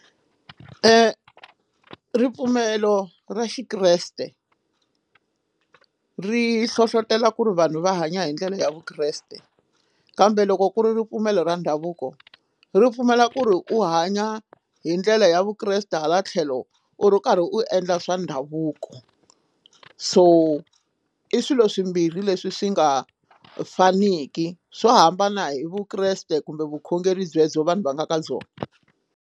Ripfumelo ra xikreste ri hlohlotela ku ri vanhu va hanya hi ndlela ya vukreste kambe loko ku ri ripfumelo ra ndhavuko ri pfumela ku ri u hanya hi ndlela ya vukreste hala tlhelo u ri karhi u endla swa ndhavuko so i swilo swimbirhi leswi swi nga faniki swo hambana hi vukreste kumbe vukhongeri byebyo vanhu va nga ka byona.